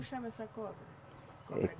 Chama essa cobra?